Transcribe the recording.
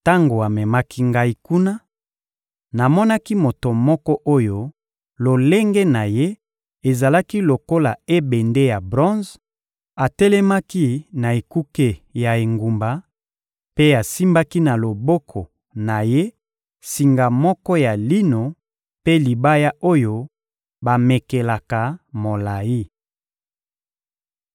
Tango amemaki ngai kuna, namonaki moto moko oyo lolenge na ye ezalaki lokola ebende ya bronze: atelemaki na ekuke ya engumba mpe asimbaki na loboko na ye singa moko ya lino mpe libaya oyo bamekelaka molayi.